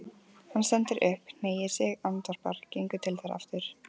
Hann stendur upp, hneigir sig, andvarpar, gengur til þeirra aftur.